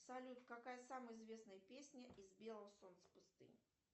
салют какая самая известная песня из белого солнца пустыни